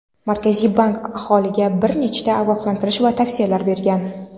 Markaziy bank aholiga bir nechta ogohlantirish va tavsiyalar bergan.